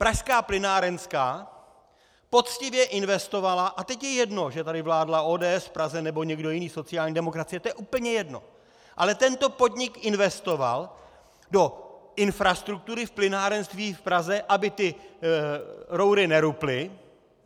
Pražská plynárenská poctivě investovala, a teď je jedno, že tady vládla ODS v Praze nebo někdo jiný, sociální demokracie, to je úplně jedno, ale tento podnik investoval do infrastruktury v plynárenství v Praze, aby ty roury neruply.